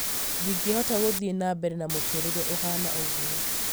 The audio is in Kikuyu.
"ndingĩhota gũthiĩ na mbere na mũturire ũhana ũguo